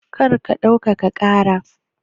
Kar ka ɗaukaka ƙara!